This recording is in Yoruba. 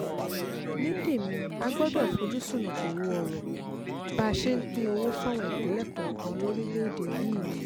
ní tèmi a gbọ́dọ̀ fojú ṣùnnùkùn wo ọ̀rọ̀ bá a ṣe ń pín owó fáwọn ìpínlẹ̀ kọ̀ọ̀kan lórílẹ̀‐èdè yìí ni